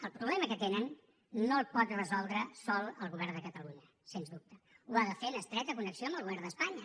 el problema que tenen no el pot resoldre sol el govern de catalunya sens dubte ho ha de fer en estreta connexió amb el govern d’espanya